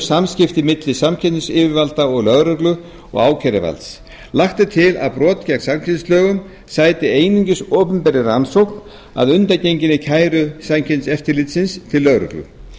samskipti milli samkeppnisyfirvalda og lögreglu og ákæruvalds lagt er til að brot gegn samkeppnislögum sæti einungis opinberri rannsókn að undangenginni kæru samkeppniseftirlitsins til lögreglu